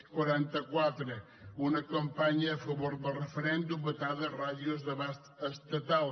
quaranta quatre una campanya a favor del referèndum vetada a ràdios d’abast estatal